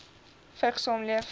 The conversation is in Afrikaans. vigs saamleef